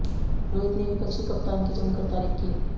रोहित ने विपक्षी कप्तान की जमकर तारीफ की